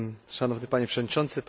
Szanowny Panie Przewodniczący!